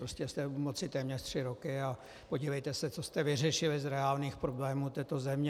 Prostě jste u moci téměř tři roky a podívejte se, co jste vyřešili z reálných problémů této země.